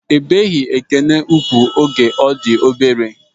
Ebeghi Ekene ugwu oge ọ di obere.